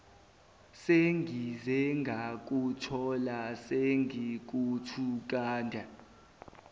sengize ngakuthola sengikuthungathe